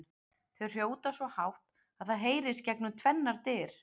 Þau hrjóta svo hátt að það heyrist gegnum tvennar dyr!